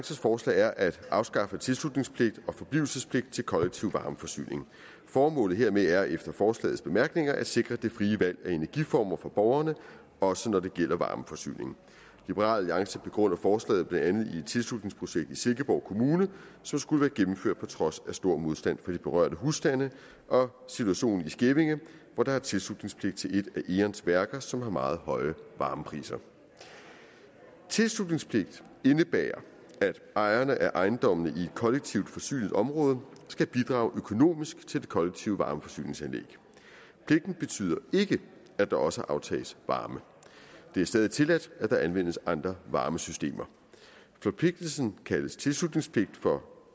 forslag er at afskaffe tilslutningspligt og forblivelsespligt til kollektiv varmeforsyning formålet hermed er efter forslagets bemærkninger at sikre det frie valg af energiformer for borgerne også når det gælder varmeforsyning liberal alliance begrunder forslaget med blandt andet et tilslutningsprojekt i silkeborg kommune som skulle være gennemført på trods af stor modstand fra de berørte husstande og situationen i skævinge hvor der er tilslutningspligt til et af eons værker som har meget høje varmepriser tilslutningspligt indebærer at ejerne af ejendommene i et kollektivt forsynet område skal bidrage økonomisk til det kollektive varmeforsyningsanlæg pligten betyder ikke at der også aftages varme det er stadig tilladt at der anvendes andre varmesystemer forpligtelsen kaldes tilslutningspligt for